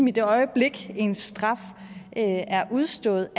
i det øjeblik ens straf er udstået